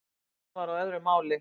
Hún var á öðru máli.